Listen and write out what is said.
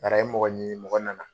Bari a ye mɔgɔ ɲini mɔgɔ na na.